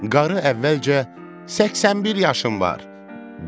Qarı əvvəlcə 81 yaşım var.